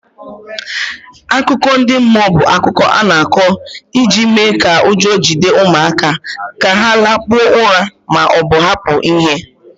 Akụkọ ndị mmụọ bụ akụkọ a na-akọ iji mee ka ụjọ jide ụmụaka ka ha lakpuo ụra ma ọ bụ hapụ ihe.